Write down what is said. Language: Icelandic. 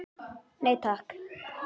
Nei takk.